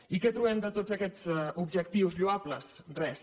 i què hi trobem de tots aquests objectius lloables res